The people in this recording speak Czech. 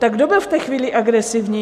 Tak kdo byl v té chvíli agresivní?